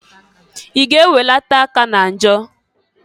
I ga -eweleta aka na njọ!